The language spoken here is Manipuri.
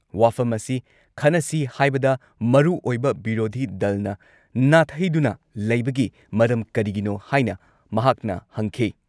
ꯋꯥꯐꯝ ꯑꯁꯤ ꯈꯟꯅꯁꯤ ꯍꯥꯏꯕꯗ ꯃꯔꯨꯑꯣꯏꯕ ꯕꯤꯔꯣꯙꯤ ꯗꯜꯅ ꯅꯥꯊꯩꯗꯨꯅ ꯂꯩꯕꯒꯤ ꯃꯔꯝ ꯀꯔꯤꯒꯤꯅꯣ ꯍꯥꯏꯅ ꯃꯍꯥꯛꯅ ꯍꯪꯈꯤ ꯫